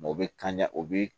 o bɛ kan o bi